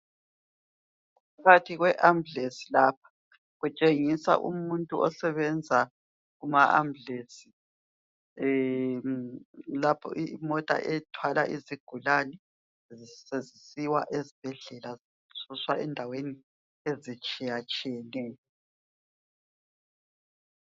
Phakathi kwe ambulance lapha kutshengiswa umuntu osebenza kuma ambulance lapho imota ethwala izigulane sezisiwa esibhedlela zisuswa endaweni ezitshiyatshiyeneyo